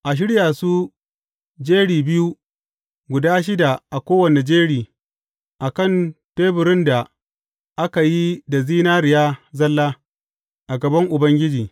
A shirya su jeri biyu, guda shida a kowane jeri a kan teburin da aka yi da zinariya zalla, a gaban Ubangiji.